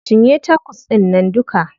Cinye tacos ɗInnan duka.